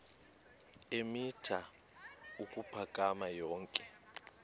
eemitha ukuphakama yonke